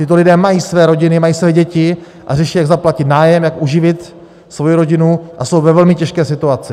Tito lidé mají své rodiny, mají své děti a řeší, jak zaplatit nájem, jak uživit svoji rodinu, a jsou ve velmi těžké situaci.